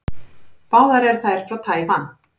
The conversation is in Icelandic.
Báðar eru þær frá Tævan.